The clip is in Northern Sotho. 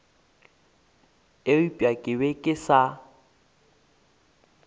eupša ke be ke sa